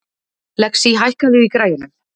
Lexí, hækkaðu í græjunum.